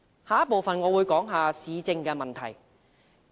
下一部分，我會談談市政的問題。